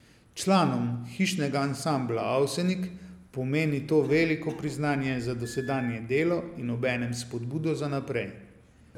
Članom Hišnega ansambla Avsenik pomeni to veliko priznanje za dosedanje delo in obenem spodbudo za naprej.